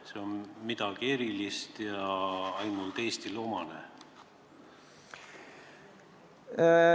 Kas see on midagi erilist ja ainult Eestile omane?